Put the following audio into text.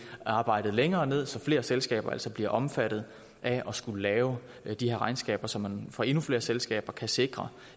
arbejdet længere ned så flere selskaber altså bliver omfattet af at skulle lave de her regnskaber så man for endnu flere selskaber kan sikre